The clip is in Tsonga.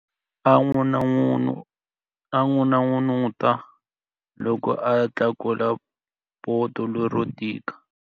A n'unun'uta loko a tlakula poto lero tika.